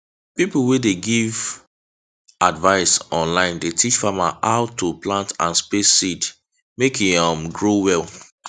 pipo wey de give wey de give advice online dey teach farmers how to plant and space seeds mek e um grow well